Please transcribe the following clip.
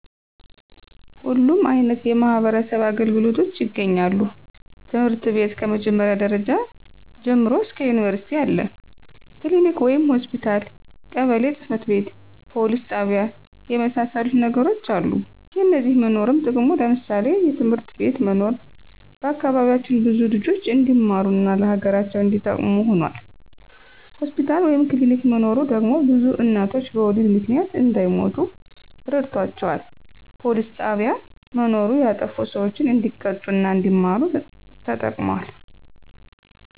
ሁሉም አይነት የማህበረሰብ አገልግሎቶች ይገኛሉ ትምህርት ቤት ከ መጀመሪያ ደረጃ ጀምሮ እስከ ዩኒቨርስቲ አለ፣ ክሊኒክ ወይም ሆስፒታል፣ ቀበሌ ጽ/ቤት፣ ፖሊስ ጣቢያ የመሳሰሉት ነገሮች አሉ። የነዚህ መኖርም ጥቅሙ ለምሳሌ፦ የትምህርት ቤት መኖር በአካባቢያችን ብዙ ልጆች እንዲማሩ እና ለሀገራቸው እንዲጠቅሙ ሁኗል። ሆስፒታል ወይም ክሊኒክ መኖሩ ደግሞ ብዙ እናቶች በወሊድ ምክንያት እንዳይሞቱ ረድቷቸዋል። ፖሊስ ጣቢያ መኖሩ ያጠፉ ሰዎች እንዲቀጡ እና አንዲማሩ ተጠቅሟል።